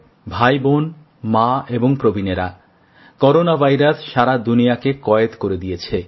ভাইবোন মা এবং প্রবীণেরা করোনা ভাইরাস সারা দুনিয়াকে বন্দি করে দিয়েছে